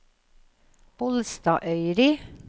Bolstadøyri